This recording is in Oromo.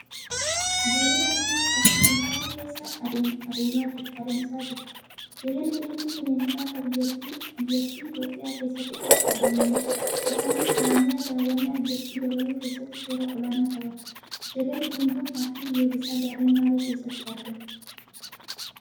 Jeedala diimtuun afur dukkana keessa adamsaa jiru. Jeedalli diimtuun bineensota akka biyyatti Itiyoophiyaa keessatti qofa argamaniidha. Isaaniis jaarmiyaa daawwannaa biyyattii dabaluu keessatti shoora olaanaa taphatu. Jeedalli diimtuun paarkii biyyoolessaa gaarreen baalee keessatti argamu.